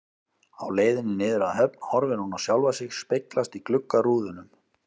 Á leiðinni niður að höfn horfir hún á sjálfa sig speglast í gluggarúðunum.